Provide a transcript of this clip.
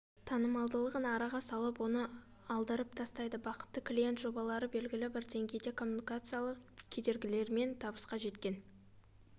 танымалдығын араға салып оны алдырып тастайды бақытты клиент жобалары да белгілі деңгейде коммуникациялық кедергілермен табысқа жеткен